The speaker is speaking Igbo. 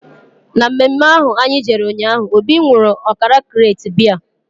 Na mme mme ahụ anyị jere ụnyaahụ, Obi nwụrụ ọkara krate biya